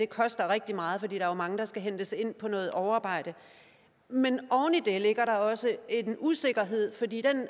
koster rigtig meget fordi er mange der skal hentes ind på noget overarbejde men oven i det ligger der også en usikkerhed fordi i